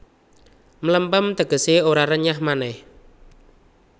Mlempem tegesé ora renyah manéh